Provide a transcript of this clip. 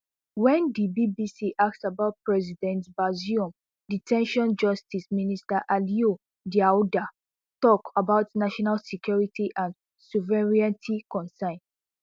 wen di bbc ask about president bazoum de ten tion justice minister aliyou daouda tok about national security and sovereignty concerns